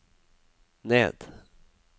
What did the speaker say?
ned